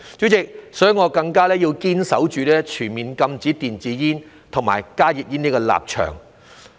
主席，所以我更加要堅守全面禁止電子煙和加熱煙的立場。